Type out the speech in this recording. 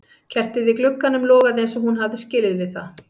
Kertið í glugganum logaði eins og hún hafði skilið við það.